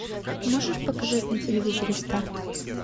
можешь показать на телевизоре старт